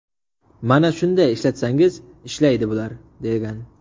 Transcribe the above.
Mana shunday ishlatsangiz ishlaydi bular”, degan.